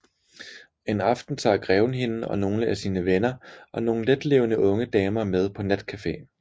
En aften tager greven hende og nogle af sine venner og nogle letlevende unge damer med på natcafe